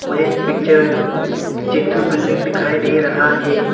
यह पिक्चर में जेंनथो बिल्डिंग दिखाई दे रहा है।